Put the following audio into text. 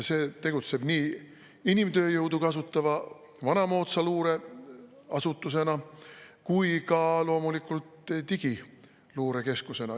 See tegutseb nii inimtööjõudu kasutava vanamoodsa luureasutusena kui ka loomulikult digiluurekeskusena.